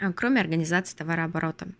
а кроме организации товарооборота